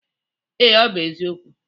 Ee, ọ bụ eziokwu.